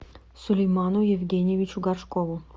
сулейману евгеньевичу горшкову